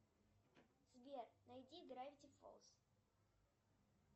сбер найди гравити фолз